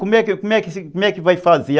Como é como é que vai fazer?